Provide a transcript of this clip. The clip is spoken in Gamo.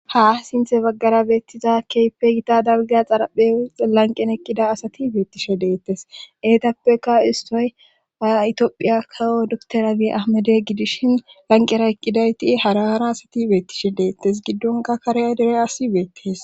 Ha sinthe baggara beettiza keypegita dalgeya xaraphe lanqen eqqida asati beettishe deettes eetappeka istoy aitphiya kawo dukterabi ahmade gidishin lanqera eqqidayti haraara asati beettishe deettes giddonka karea dere asi beettees.